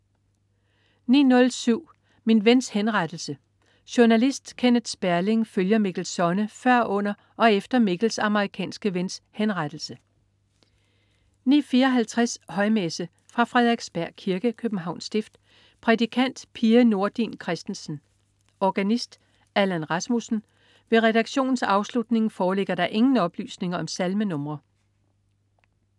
09.07 Min Vens Henrettelse. Journalist Kenneth Sperling følger Mikkel Sonne før, under og efter Mikkels amerikanske vens henrettelse 09.54 Højmesse. Fra Frederiksberg Kirke, Københavns Stift. Prædikant: Pia Nordin Christensen. Organist: Allan Rasmussen. Ved redaktionens afslutning foreligger der ingen oplysninger om salmenr